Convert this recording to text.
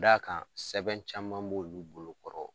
Da kan sɛbɛn caman b'o olu bolokɔrɔ.